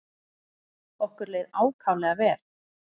Okkur leið ákaflega vel.